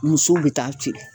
Musow be taa ceere